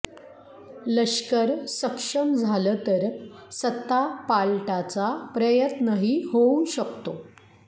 लष्कर सक्षम झालं तर सत्तापालटाचा प्रयत्नही होऊ शकतो